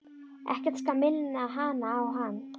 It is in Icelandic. Ekkert skal minna hana á hann.